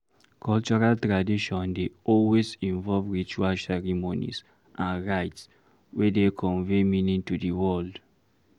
Cultural tradition dey always involve ritual ceremonies and rites wey dey convey meaning to di world